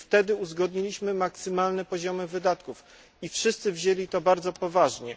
Wtedy uzgodniliśmy maksymalne poziomy wydatków i wszyscy potraktowali to bardzo poważnie.